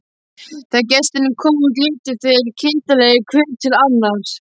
Þegar gestirnir komu út litu þeir kindarlegir hver til annars.